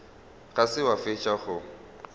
ga se wa fetša go